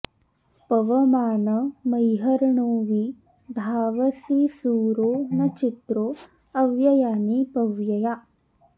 पवमान मह्यर्णो वि धावसि सूरो न चित्रो अव्ययानि पव्यया